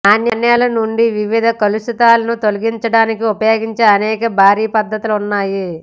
నాణేల నుండి వివిధ కలుషితాలను తొలగించడానికి ఉపయోగించే అనేక భారీ పద్ధతులు ఉన్నాయి